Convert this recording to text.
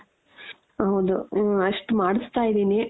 ಹೌದು ಹ ಅಷ್ಟ್ ಮಾಡುಸ್ತಾ ಇದೀನಿ.